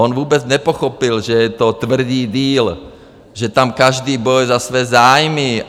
On vůbec nepochopil, že je to tvrdý deal, že tam každý bojuje za své zájmy.